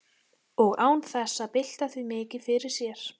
Og án þess að bylta því mikið fyrir sér.